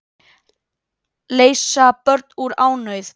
Leysa börn úr ánauð